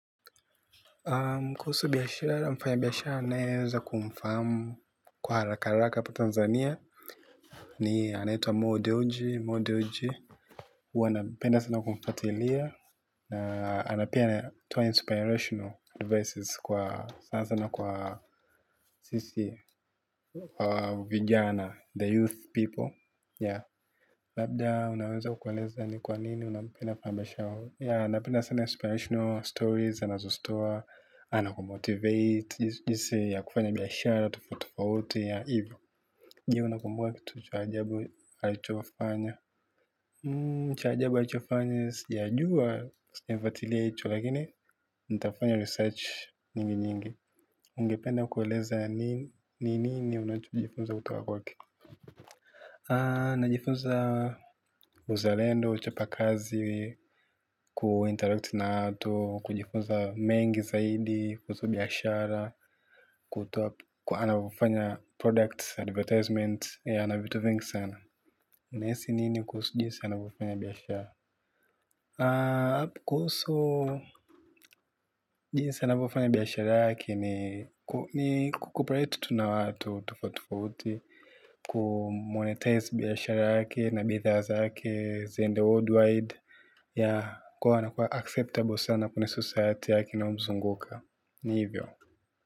Kuhusu biashara mfanya biashara ninayeweza kumfahamu kwa haraka haraka hapa Tanzania. Ni anaitwa Mo Dewji, Mo Dewji huwa napenda sana kumfuatilia. Na pia anatoa inspirational advice sana sana kwa sisi vijana the youth people yeah labda unaweza kueleza ni kwa nini unampenda pande yeah napenda sana inspirational stories anazozitoa. Anakumotivate jinsi ya kufanya biashara tofaufi tofauti yeah hivyo. Je unakumbuka kitu cha ajabu alichofanya cha ajabu alichofanya sijajua. Sijafuatilia hicho lakini nitafanya research nyingi nyingi. Ungependa kueleza ni nini unachojifunza kutoka kwake najifunza. Uzalendo, uchapa kazi kuinteract na watu kujifunza mengi zaidi kuhusu biashara anavyofanya products advertisements ana vitu vingi sana. Nahisi nini kuhusu jinsi anavyofanya biashara? Kuhusu jinsi anavyofanya biashara yake ni kucooperate tu na watu tofauti tofauti kumonetize biashara yake na bidhaa zake ziende worldwide yeah kwa hiyo anakuwa acceptable sana kwenye society yake inayomzunguka ni hivyo.